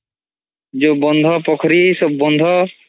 ଯୋଉ ବନ୍ଧ ପୋଖୋରୀ ସବୁ ବନ୍ଧ